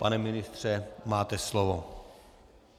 Pane ministře, máte slovo.